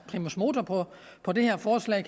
primus motor på på det her forslag